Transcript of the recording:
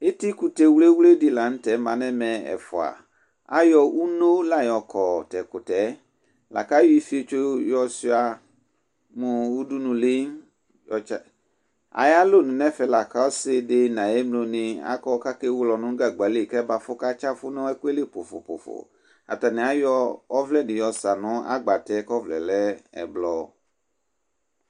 Etikʋtɛ wlewledɩ la nv tɛ ma n'ɛmɛ ɛfʋa : ayɔ uno la yɔkɔ t'ɛkʋtɛɛ , lakayɔ ifiotso yɔ sʋɩa mʋ udunuli, yɔtsa Ayalonu n'ɛfɛ la k'ɔsɩdɩ n'ayemlonɩ akɔ kewele ɔnʋ nʋ gzgba li k'ɛbɛafʋ katsɩafʋ 'n'ɛkʋɛli pʋfʋpʋfʋ ; atanɩ ayɔ ɔvlɛdɩ yɔsa nʋ agbatɛ k'ɔvlɛɛ lɛ ɛblɔ